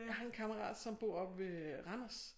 Jeg har en kammerat som bor oppe ved Randers